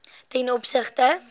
ten opsigte